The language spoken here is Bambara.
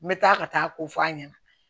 N bɛ taa ka taa ko f'a ɲɛna